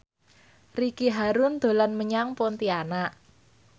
Ricky Harun dolan menyang Pontianak